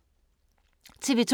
TV 2